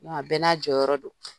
a bɛɛ n'a jɔyɔrɔ don.